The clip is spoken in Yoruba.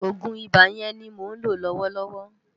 Ògún Ibá yèn ni mó nló lòwòlòwò